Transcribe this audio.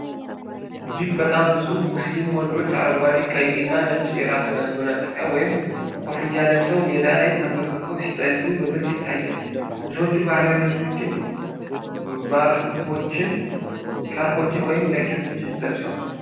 እጅግ በጣም ብዙ ሙስሊም ወንዶች አረንጓዴ፣ ቀይ እና ነጭ የራስ መጎናጸፊያ ወይም ኮፍያ ለብሰው፣ ሜዳ ላይ ተንበርክከው ሲጸልዩ በግልጽ ይታያል። ብዙዎቹ ባህላዊ ልብሶችን፣ ሻርፖችን ወይም ጃኬቶችን ለብሰዋል።